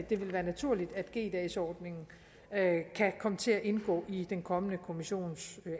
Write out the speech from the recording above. det vil være naturligt at g dagsordningen kan komme til at indgå i den kommende kommissions